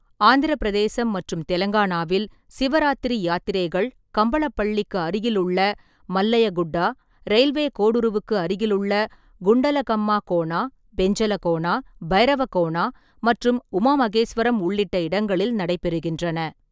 ஆந்திரப் பிரதேசம் மற்றும் தெலங்கானாவில், சிவராத்திரி யாத்திரைகள் கம்பளப்பள்ளிக்கு அருகிலுள்ள மல்லையா குட்டா, ரயில்வே கோடுருவுக்கு அருகிலுள்ள குண்டலகம்மா கோனா, பெஞ்சலகோனா, பைரவகோனா மற்றும் உமா மகேஸ்வரம் உள்ளிட்ட இடங்களில் நடைபெறுகின்றன.